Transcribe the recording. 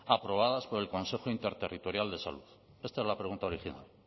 aprobadas por el consejo interterritorial de salud esta es la pregunta original